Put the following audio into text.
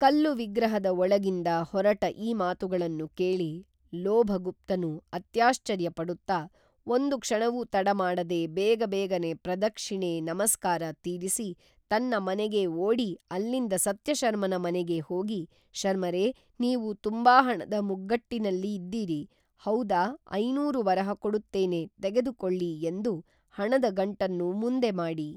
ಕಲ್ಲು ವಿಗ್ರಹಗದ ಒಳಗಿಂದ ಹೊರಟ ಈ ಮಾತುಗಳನ್ನು ಕೇಳಿ ಲೋಭಗುಪ್ತನು ಅತ್ಯಾಶ್ಚರ್ಯ ಪಡುತ್ತಾ ಒಂದು ಕ್ಷಣವೂ ತಡಮಾಡದೆ ಬೇಗಬೇಗನೆ ಪ್ರದಕ್ಥಿಣೆ ಸಮಸ್ಕಾರ ತೀರಿಸಿ ತನ್ನ ಮನೆಗೇ ಓಡಿ ಅಲ್ಲಿಂದ ಸತ್ಯಶರ್ಮನ ಮನೆಗೇ ಹೋಗಿ ಶರ್ಮರೇ ನೀವು ತುಂಬಾ ಹಣದ ಮುಗ್ಗಟ್ಟಿನಲ್ಲಿ ಇದ್ದೀರಿ, ಹೌದಾ ಐನೂರು ವರಹ ಕೊಡುತ್ತೇನೆ ತೆಗೇದುಕೊಳ್ಳಿ ಎಂದನು ಹಣದ ಗಂಟನ್ನು ಮುಂದೆ ಮಾಡಿ